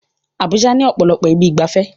Abuja ní ọ̀pọ̀lọpọ̀ ibi ìgbafẹ́